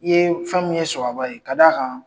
I ye fɛn min ye sababa ye, k'a d'a kan